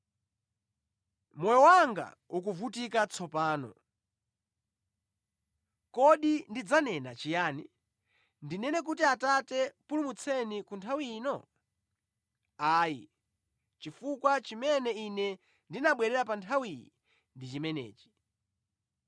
“Moyo wanga ukuvutika tsopano, kodi ndidzanena chiyani? Ndinene kuti Atate pulumutseni ku nthawi ino? Ayi. Chifukwa chimene Ine ndinabwera pa nthawi iyi ndi chimenechi.